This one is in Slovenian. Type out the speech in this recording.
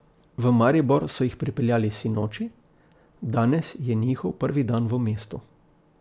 V Maribor so jih pripeljali sinoči, danes je njihov prvi dan v mestu.